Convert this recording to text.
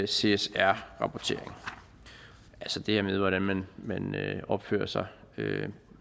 csr rapportering altså det her med hvordan man man opfører sig